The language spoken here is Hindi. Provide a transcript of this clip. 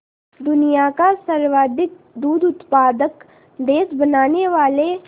दुनिया का सर्वाधिक दूध उत्पादक देश बनाने वाले